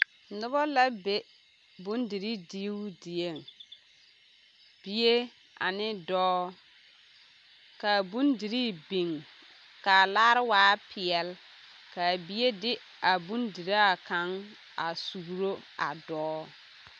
Noba la be bondirii diibo dieŋ bie ane dɔɔ ka a bondirii biŋ ka a laare waa peɛle ka a bie de a bondiraa kaŋ a suuro a dɔɔ.